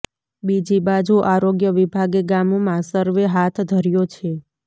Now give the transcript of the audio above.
બીજી બાજુ આરોગ્ય વિભાગે ગામમાં સર્વે હાથ ધર્યો છે